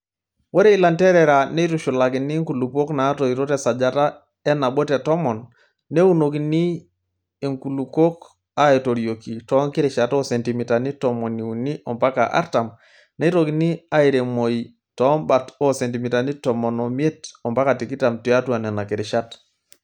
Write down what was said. Ore ilanterera neitushulakini nkulupuok natoito tesajata enabo te tomon, neunokini enkulukuok aaitorioki too nkirishat oo sentimitani tomoni uni ompaka artam neitokini airemoi toombat oo sentimitani tomon omiet ompaka tikitam tiatua nena kirishat.